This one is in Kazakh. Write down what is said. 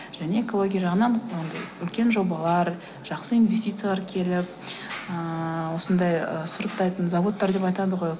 және экология жағынан анадай үлкен жобалар жақсы инвестициялар келіп ыыы осындай ы сұрыптайтын зауыттар деп айтады ғой